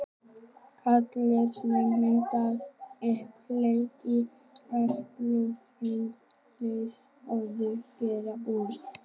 Gallsteinar myndast yfirleitt í gallblöðrunni og eru oftast gerðir úr kólesteróli.